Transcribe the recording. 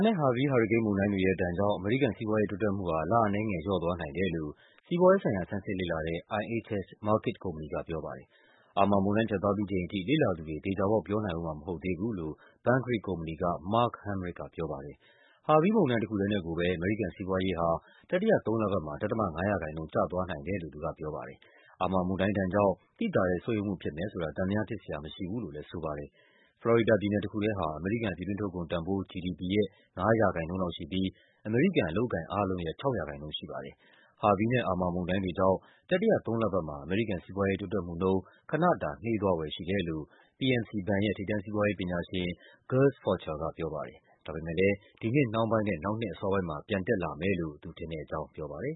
နဲ့ Harvey ဟာရီကိန်းမုန်တိုင်းတွေရဲ့ဒဏ်ကြောင့် အမေရိကန်စီးပွားရေး တိုးတက်မှုဟာ လအနည်းငယ် လျော့သွားနိုင် တယ်လို့ စီးပွားရေးဆိုင်ရာ ဆန်းစစ်လေ့လာတဲ့ IHS Markit ကုမ္ပဏီကပြောပါတယ်။ Imra မုန်တိုင်း ဖြတ်သွားပြီးချိန်ထိ လေ့လာသူတွေ သေချာပေါက် ပြောနိုင်ဦးမှာ မဟုတ်သေးဘူးလို့ Bankrate ကုမ္ပဏီက Mark Hamrick ကပြောပါတယ်။ Harvey မုန်တိုင်းတခုထဲနဲ့ကိုပဲ အမေရိကန်စီးပွားရေးဟာ တတိယသုံးလပတ်မှာ ဒဿမ ၅% ကျသွားနိုင်တယ်လို့ သူကပြောပါ တယ်။ Irma မုန်တိုင်းဒဏ်ကြောင့် သိသာတဲ့ ဆုတ်ယုတ်မှုဖြစ်မယ်ဆိုတာ သံသယဖြစ်စရာမရှိဘူးလို့လဲ ဆိုပါတယ်။ ဖလော်ရီဒါပြည်နယ်တခုထဲဟာ အမေရိကန် ပြည်တွင်းထုတ်ကုန်တန်ဖိုး GDP ရဲ့ ၅% လောက်ရှိပြီး အမေရိကန် အလုပ်အကိုင် အားလုံးရဲ့ ၆% ရှိပါတယ်။ Harvye နဲ့ Irma မုန်တိုင်းတွေကြောင့် တတိယသုံးလပတ်မှာ အမေရိကန်စီးပွားရေး တိုးတက်မှုနှုန်း ခနတာ နှေးသွားဖွယ်ရှိတယ်လို့ PNC ဘဏ်ရဲ့ ထိပ်တန်းစီးပွားရေးပညာရှင် Gus Faucher ကပြောပါတယ်။ ဒါပေမဲ့လဲ ဒီနှစ် နှောင်းပိုင်းနဲ့ နောက်နှစ်အစောပိုင်းမှာ ပြန်တက်လာမယ်လို့ သူထင်တဲ့အကြောင်းပြောပါတယ်